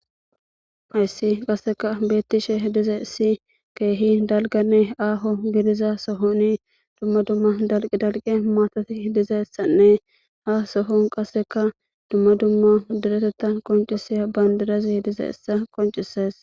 hayssi qasseka beettishe dize issi keehi dalganne aaho gidiza sohoni dumma dumma dalqi dalqe maatati dizessanne ha sohon qasseka dumma dumma direteta qoncisiya bandirazi dize issa qoncises